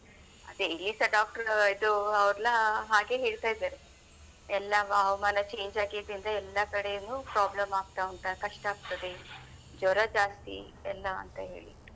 ಅದೆ ಇಲ್ಲಿಸ doctor ಇದು ಅವರೆಲ್ಲಾ ಹಾಗೆ ಹೇಳ್ತಾ ಇದ್ದಾರೆ ಎಲ್ಲ ಹವಾಮಾನ change ಆಗಿದ್ರಿಂದ ಎಲ್ಲ ಕಡೆನೂ problem ಆಗ್ತಾ ಉಂಟು ಕಷ್ಟ ಆಗ್ತದೆ ಜ್ವರ ಜಾಸ್ತಿ ಎಲ್ಲ ಅಂತ ಹೇಳಿದ್ರು.